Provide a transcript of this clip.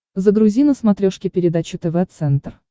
загрузи на смотрешке передачу тв центр